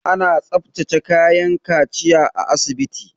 Ana tsaftace kayan kaciya a asibiti.